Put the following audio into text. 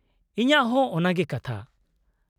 -ᱤᱧᱟᱹᱜ ᱦᱚᱸ ᱚᱱᱟᱜᱮ ᱠᱟᱛᱷᱟ ᱾